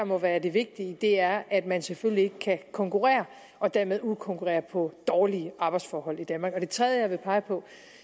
må være det vigtige er at man selvfølgelig ikke kan konkurrere og dermed udkonkurrere på dårlige arbejdsforhold i danmark det tredje jeg vil pege på